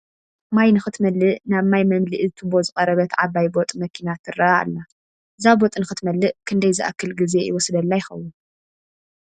ማይ ንኽትመልእ ናብ ማይ መምልኢ ቱቦ ዝቐረበት ዓባይ ቦጥ መኪና ትርአ ኣላ፡፡ እዛ ቦጥ ንክትመልእ ክንደይ ዝኣክል ግዜ ይወስደላ ይኸውን?